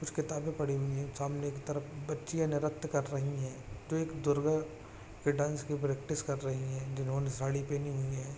कुछ किताबें पड़ी हुई है सामने की तरफ बच्चियाँ निरित्य कर रही हैं जो एक दुर्गा के डांस की प्रैक्टिस कर रही हैं जिन्होंने साड़ी पहनी हुई है।